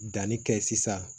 Danni kɛ sisan